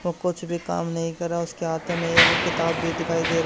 वो कुछ भी काम नहीं कर रहा उसके हाथ में एक किताब भी दिखाई दे र--